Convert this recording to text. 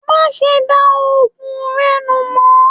Má ṣe dá òògùn rẹ nù mọ!